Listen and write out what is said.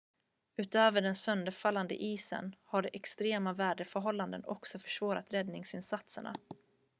utöver den sönderfallande isen har extrema väderförhållanden också försvårat räddningsinsatserna